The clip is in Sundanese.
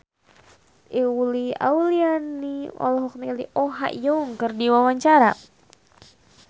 Uli Auliani olohok ningali Oh Ha Young keur diwawancara